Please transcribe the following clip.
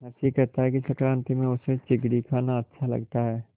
नरसी कहता है कि संक्रांति में उसे चिगडी खाना अच्छा लगता है